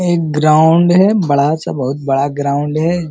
एक ग्राउंड बड़ा-सा बहुत बड़ा ग्राउंड है।